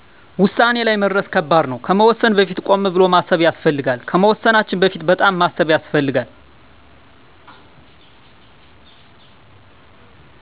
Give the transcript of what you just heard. ወሳኔ ላይ መድረስ ከባድ ነው ከመወሰን በፊት ቆም ብሎ ማሰብ ያስፈልጋል ከመወሰናችን በፊት በጣም ማሰብ ያሰፈልጋል